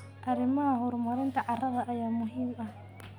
Arrimaha horumarinta carrada ayaa muhiim ah.